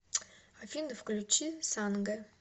афина включи санге